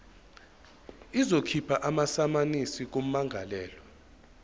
izokhipha amasamanisi kummangalelwa